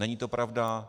Není to pravda.